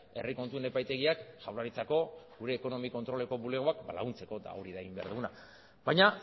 herri kontuen epaitegiak jaurlaritzako gure ekonomi kontroleko bulegoak ba laguntzeko eta hori da egin behar duguna baina